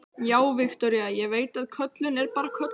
Já, Viktoría, ég veit að köllun er bara köllun.